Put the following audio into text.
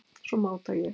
Svo máta ég.